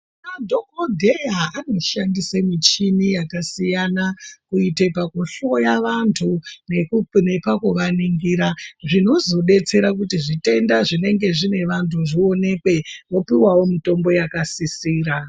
Madhokodheya anoshandise michini yakasiyana kuita pakuhloya vantu nepakuvaningira zvinozovadetsera kuti zvitenda zvinenge zvine vantu zvionekwe vopiwawo mitombo yakasisira.